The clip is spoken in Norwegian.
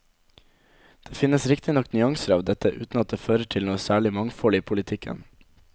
Det finnes riktignok nyanser av dette, uten at det fører til noe særlig mangfold i politikken.